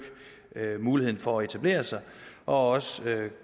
muligheden for at etablere sig og også